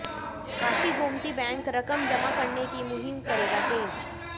Kashi Gomti bank रकम जमा कराने की मुहिम करेगा तेज